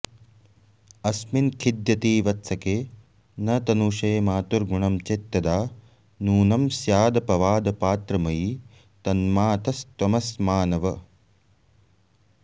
अस्मिन् खिद्यति वत्सके न तनुषे मातुर्गुणं चेत्तदा नूनं स्यादपवादपात्रमयि तन्मातस्त्वमस्मानव